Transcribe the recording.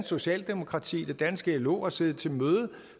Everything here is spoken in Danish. socialdemokrati det danske lo har siddet til møde